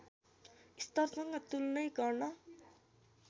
स्तरसँग तुलनै गर्न